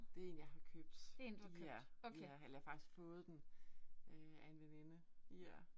Det én jeg har købt. Ja, ja, eller jeg har faktisk fået den øh af en veninde, ja